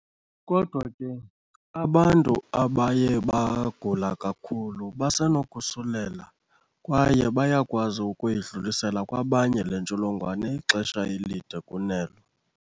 Kodwa ke, abantu abaye bagula kakhulu basenokosulela kwaye bayakwazi ukuyidlulisela kwabanye le ntsholongwane ixesha elide kunelo.